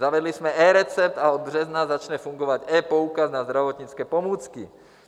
Zavedli jsme eRecept a od března začne fungovat ePoukaz na zdravotnické pomůcky.